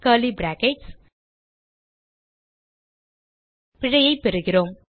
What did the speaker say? curly brackets பிழையைப் பெறுகிறோம்